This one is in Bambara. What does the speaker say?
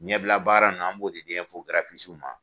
Ɲɛbila baara nunnu an b'o di ma.